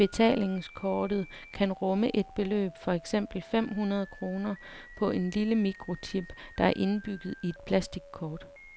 Betalingskortet kan rumme et beløb, for eksempel fem hundrede kroner, på en lille mikrochip, der er indbygget i plastikkortet.